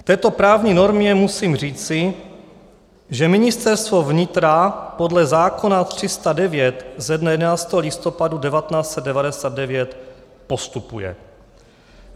K této právní normě musím říci, že Ministerstvo vnitra podle zákona 309 ze dne 11. listopadu 1999 postupuje.